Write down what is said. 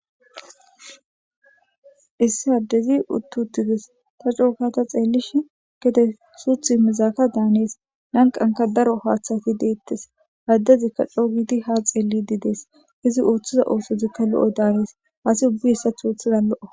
Issi addezi uththi7uththi des; tha coo gaada xeellishin gede suuththi immizaaka daanees; lanqqankka daro haaththathi deeththes; addezikka coo gidi ha xeelliddii dees; izi ooththiza oosozikka lo7o daanees; asi ubbi hessaththo oothiza lo7o.